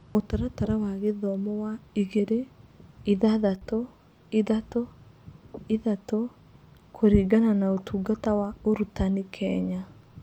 Mũtaratara wa gĩthomo wa igĩrĩ-ithathatũ-ithatũ-ithatũ kũringana na Ũtungata wa Ũrutani, Kenya.